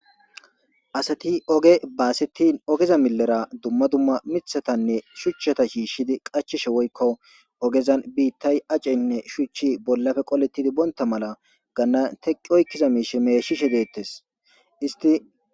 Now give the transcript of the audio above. asati oge baasetin ogeza milera dumma dumma mithatanne shuchchata shiishshidi qachishe woykko ogezan biittay aceynne shuchchi bollafe qolettidi boonta mala ganna teqqi oykkiza miishe meeshishe deettes isti